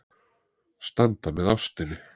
Standa með ástinni.